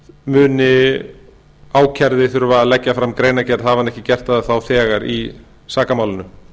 muni ákærði þurfa að leggja fram greinargerð hafi hann ekki gert það þá var í sakamálinu